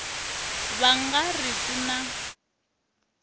va nga ri ku na